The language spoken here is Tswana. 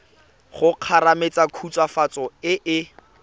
go kgomaretsa khutswafatso e e